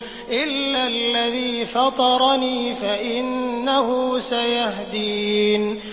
إِلَّا الَّذِي فَطَرَنِي فَإِنَّهُ سَيَهْدِينِ